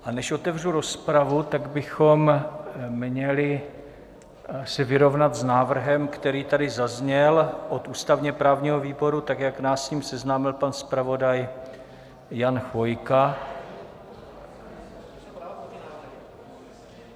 A než otevřu rozpravu, tak bychom měli se vyrovnat s návrhem, který tady zazněl od ústavně-právního výboru, tak jak nás s ním seznámil pan zpravodaj Jan Chvojka.